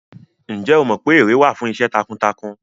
Ǹjẹ́ o mọ pé ère wà fún iṣẹ́ takuntakun?